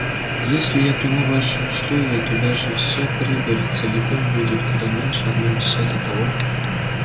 если я приму ваши условия то даже вся прибыль целиком будет куда меньше одной десятой того